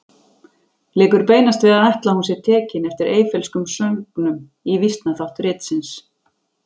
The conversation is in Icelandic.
Liggur beinast við að ætla að hún sé tekin eftir Eyfellskum sögnum í vísnaþátt ritsins.